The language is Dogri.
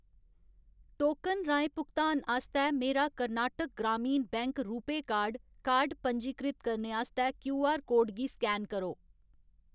टोकन राहें भुगतान आस्तै मेरा कर्नाटक ग्रामीण बैंक रूपेऽ कार्ड कार्ड पंजीकृत करने आस्तै क्यूआर कोड गी स्कैन करो।